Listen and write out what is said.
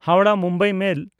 ᱦᱟᱣᱲᱟᱦ–ᱢᱩᱢᱵᱟᱭ ᱢᱮᱞ